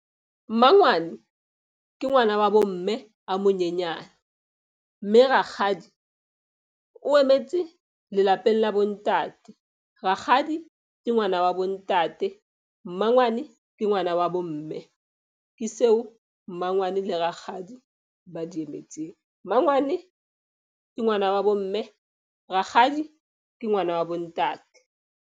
Mmangwane ke ngwana wa bo mme a monyenyane, mme rakgadi o emetse lelapeng la bontate. Rakgadi ke ngwana wa bo ntate. Mmangwane ke ngwana wa bo mme. Ke seo mmangwane le rakgadi ba di emetseng. Mmangwane ke ngwana wa bo mme. Rakgadi ke ngwana wa bo ntate.